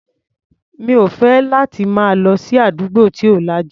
Mi ò fẹ́ láti máa lọ sí àdúgbò tí ò lajú.